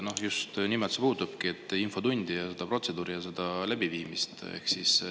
just nimelt puudutabki infotundi, seda protseduuri, selle läbiviimist.